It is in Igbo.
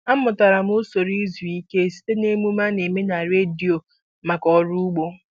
Amụtara m usoro izu ike site n'emume a na-eme na redio maka ọrụ ugbo.